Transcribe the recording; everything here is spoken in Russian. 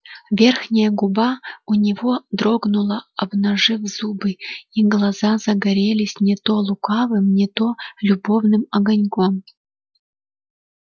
верхняя губа у него дрогнула обнажив зубы и глаза загорелись не то лукавым не то любовным огоньком